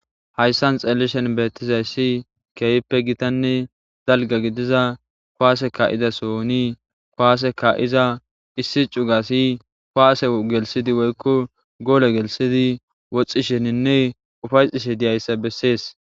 hayssan xelishen beettizayssi keehippe gitanne dalga gidiza kuwaase ka7iza sohooni kuwaase ka7iza issi cugasi kuwaase gelsidi woykko goole gelisidi woxxisheninne ufayttishe diyayssa bessees.